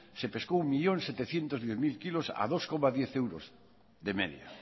se pescó entre un millón setecientos diez mil kilos a dos coma diez euros de media